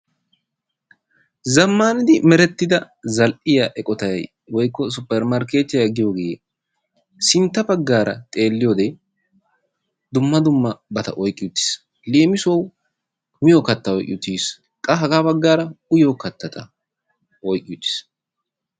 Zamaandi merettida zal'iyaa eqottay woykko 'suppermrkettiya giyoge sintta baggara xeeliyode dumma dummabatta oyqqi uttis. Leemisuwau miyoo kattata oyqqi uttis, qa ha baggara uyiyo kattata oyqqi uttis.